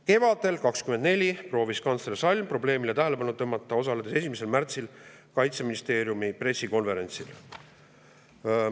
Kevadel 2024 proovis kantsler Salm probleemile tähelepanu tõmmata, osaledes 1. märtsil Kaitseministeeriumi pressikonverentsil.